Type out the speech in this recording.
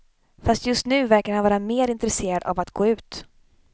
Fast just nu verkar han vara mer intresserad av att gå ut.